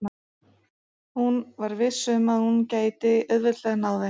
Hún var viss um að hún gæti auðveldlega náð þeim.